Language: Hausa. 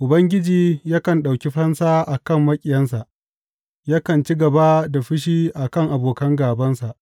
Ubangiji yakan ɗauki fansa a kan maƙiyansa, yakan ci gaba da fushi a kan abokan gābansa.